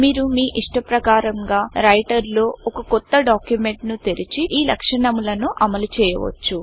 మీరు మీ ఇష్టప్రకారంగా రైటర్ లో ఒక కొత్త డాక్యుమెంట్ ను తెరిచి ఈ లక్షణములను అమలు చేయొచ్చు